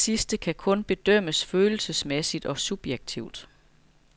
Denne sidste kan kun bedømmes følelsesmæssigt og subjektivt.